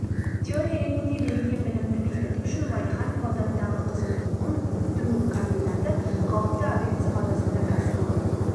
теория ретінде берілген білімді бекіту үшін уәлиханов ауданындағы қызылту ұн үктіру комбинаты қауіпті объектісі базасында кәсіпорын